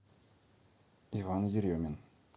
иван еремин